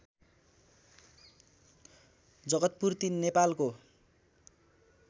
जगतपुर ३ नेपालको